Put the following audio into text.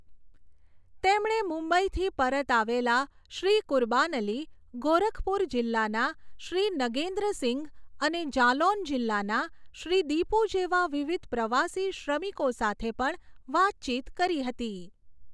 તેમણે મુંબઈથી પરત આવેલા શ્રી કુરબાન અલી, ગોરખપુર જીલ્લાના શ્રી નગેન્દ્રસિંઘ અને જાલૌન જીલ્લાના શ્રી દીપુ જેવા વિવિધ પ્રવાસી શ્રમિકો સાથે પણ વાતચીત કરી હતી.